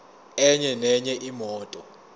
enye nenye imoto